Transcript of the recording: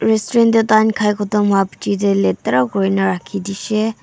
restaurant tae taan khai khotom hoipichae tae latira kurina rakhidishey.